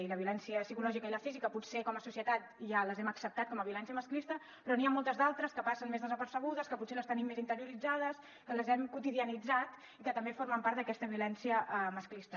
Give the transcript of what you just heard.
i la violència psicològica i la física potser com a societat ja les hem acceptat com a violència masclista però n’hi ha moltes d’altres que passen més desapercebudes que potser les tenim més interioritzades que les hem quotidianitzat i que també formen part d’aquesta violència masclista